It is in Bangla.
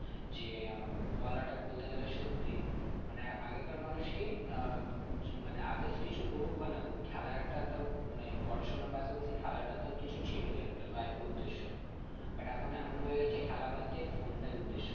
যে আহ উম বলাটা বলতে গেলে সত্যিই মানে আগেকার মানুষ কি আহ উম মানে others কিছু করুক বা না করুক খেলাটা তাও মানে পড়াশোনার পাশাপাশি খেলাটা তাও কিছু ছিল একটা life এ উদ্দেশ্য but এখন এমন হয়ে গেছে খেলা বাদ দিয়ে phone টাই উদ্দেশ্য